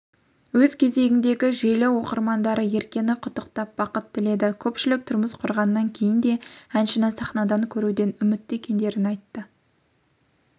өз кезегінде желі оқырмандары еркені құттықтап бақыт тіледі көпшілік тұрмыс құрғаннан кейін де әншіні сахнадан көруден үмітті екендерін айтты